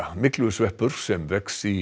myglusveppur sem vex í